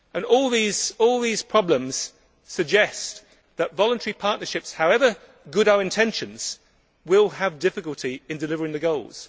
All these problems suggest that voluntary partnerships, however good our intentions, will have difficulty delivering the goals.